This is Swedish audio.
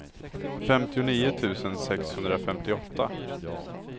femtionio tusen sexhundrafemtioåtta